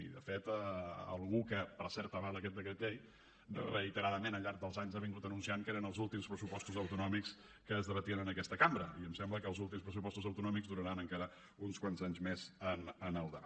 i de fet algú que per cert avala aquest decret llei reiteradament al llarg dels anys ha anunciat que eren els últims pressupostos autonòmics que es debatien en aquesta cambra i em sembla que els últims pressupostos autonòmics duraran encara uns quants anys més en el debat